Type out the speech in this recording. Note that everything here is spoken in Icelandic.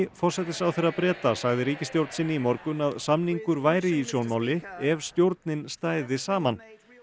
forsætisráðherra Breta sagði ríkisstjórn sinni í morgun að samningur væri í sjónmáli ef stjórnin stæði saman